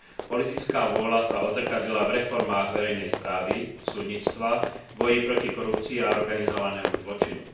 Politická vôľa sa odzrkadlila v reformách verejnej správy, súdnictva, v boji proti korupcii a organizovanému zločinu.